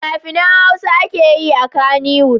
Fina-finan Hausa ake yi a Kannywood.